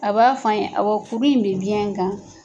A b'a fɔ an ye, awɔ, furu in bɛ biyɛn kan.